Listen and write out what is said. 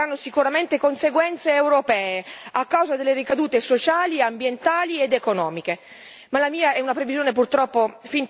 Parliamo di misure, quindi, miopi e che avranno sicuramente conseguenze europee a causa delle ricadute sociali, ambientali ed economiche.